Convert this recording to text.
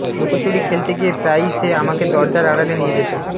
লুকোচুরি খেলতে গিয়ে প্রায়ই সে আমাকে দরজার আড়ালে নিয়ে যেত